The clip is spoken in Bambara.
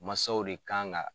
Masaw de kan ka